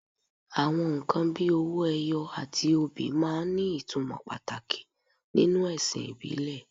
Àwọn nǹkan bíi owó ẹyọ àti obì máa ń ní ìtumọ̀ pàtàkì nínú ẹ̀sìn ìbílẹ̀